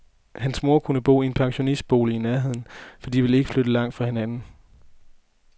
Hans mor kunne bo i en pensionistbolig i nærheden, for de vil ikke flytte langt fra hinanden.